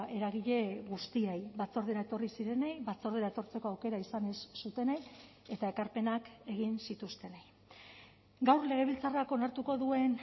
eragile guztiei batzordera etorri zirenei batzordera etortzeko aukera izan ez zutenei eta ekarpenak egin zituztenei gaur legebiltzarrak onartuko duen